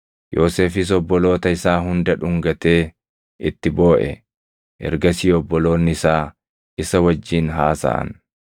Yoosefis obboloota isaa hunda dhungatee itti booʼe. Ergasii obboloonni isaa isa wajjin haasaʼan.